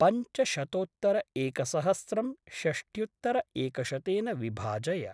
पञ्चशतोत्तरएकसहस्रं षष्ट्युत्तरएकशतेन विभाजय।